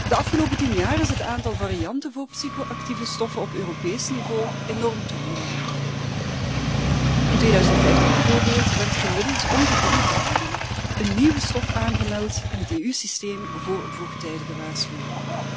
De afgelopen tien jaar is het aantal varianten van psychoactieve stoffen op Europees niveau enorm toegenomen. In 2015 bijvoorbeeld werd gemiddeld om de drie dagen een nieuwe stof aangemeld in het EU systeem voor vroegtijdige waarschuwing.